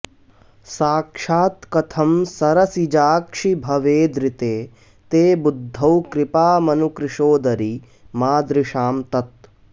साक्षात् कथं सरसिजाक्षि भवेदृते ते बुद्धौ कृपामनु कृशोदरि मादृशां तत्